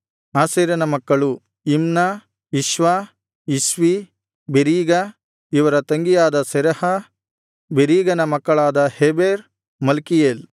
ಆಶೇರನ ಮಕ್ಕಳು Imnah Ishvah Ishvi Beriah ಇವರ ತಂಗಿಯಾದ ಸೆರಹ ಬೆರೀಗನ ಮಕ್ಕಳಾದ ಹೆಬೆರ್ ಮಲ್ಕೀಯೇಲ್